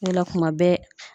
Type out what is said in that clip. O de la kuma bɛɛ